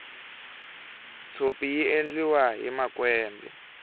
tshopi yi endliwahi makwembe